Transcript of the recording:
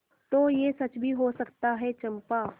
तो यह सच भी हो सकता है चंपा